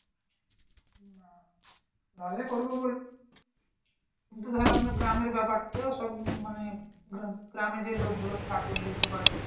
রাজি করব বলে কিন্তু ধরো আমরা গ্রামের ব্যাপার তো সব মানে গ্রাম গ্রামে যে লোকগুলো থাকে এগুলো বুঝতে পারছো